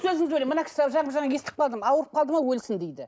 сөзіңізді бөлемін мына кісі жаңа естіп қалдым ауырып қалды ма өлсін дейді